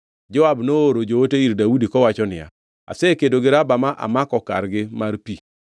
Joab nooro joote ir Daudi, kowacho niya, “Asekedo gi Raba ma amako kargi mar pi.